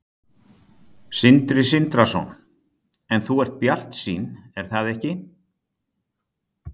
Sindri Sindrason: En þú ert bjartsýn er það ekki?